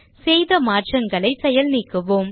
செய்த மாற்றங்களை செயல் நீக்குவோம்